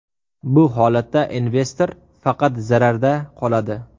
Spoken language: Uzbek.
Bu holatda investor faqat zararda qoladi.